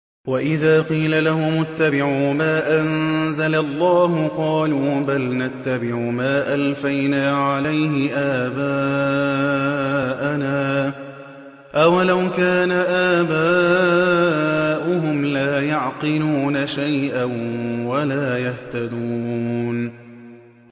وَإِذَا قِيلَ لَهُمُ اتَّبِعُوا مَا أَنزَلَ اللَّهُ قَالُوا بَلْ نَتَّبِعُ مَا أَلْفَيْنَا عَلَيْهِ آبَاءَنَا ۗ أَوَلَوْ كَانَ آبَاؤُهُمْ لَا يَعْقِلُونَ شَيْئًا وَلَا يَهْتَدُونَ